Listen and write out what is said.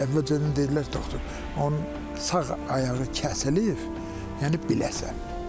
Əvvəlcədən dedilər doktor, onun sağ ayağı kəsilib, yəni biləsən.